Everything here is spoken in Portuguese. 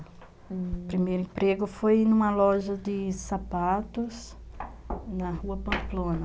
O primeiro emprego foi em uma loja de sapatos na rua Pamplona.